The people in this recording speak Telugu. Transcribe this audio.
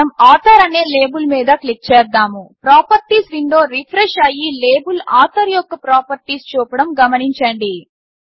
ఇప్పుడు మనం ఆథర్ అనే లేబుల్ మీద క్లిక్ చేద్దాము ప్రాపర్టీస్ విండో రిఫ్రెష్ అయ్యి లేబుల్ ఆథర్ యొక్క ప్రాపర్టీస్ చూపడం గమనించండి